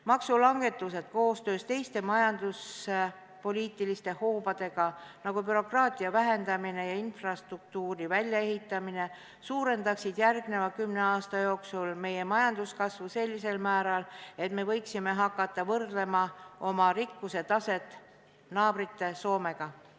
Maksulangetused koostoimes teiste majanduspoliitiliste hoobadega, nagu bürokraatia vähendamine ja infrastruktuuri väljaehitamine, suurendaksid järgmise kümne aasta jooksul meie majanduskasvu sellisel määral, et me võiksime hakata võrdlema oma rikkuse taset naabermaa Soome omaga.